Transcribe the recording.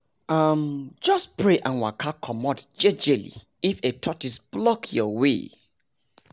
um just pray and waka comot jejeli if a tortoise block your way